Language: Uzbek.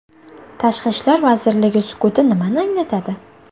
Tashqi ishlar vazirligi sukuti nimani anglatadi?